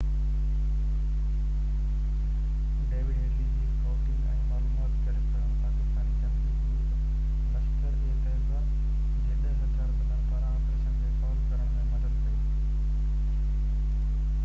David Headley جي scouting ۽ معلومات گڏ ڪرڻ پاڪستاني جنگجو گروپ لشڪر-اي طيبه جي 10 هٿيار بندن پاران آپريشن کي فعال ڪرڻ ۾ مدد ڪئي